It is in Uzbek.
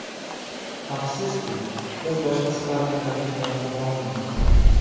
Afsuski, biz boshqa sparring-raqiblar topa olmadik.